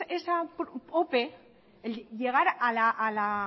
esa ope el llegar a la